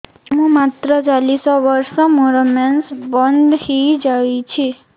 ମୁଁ ମାତ୍ର ଚାଳିଶ ବର୍ଷ ମୋର ମେନ୍ସ ବନ୍ଦ ହେଇଯାଇଛି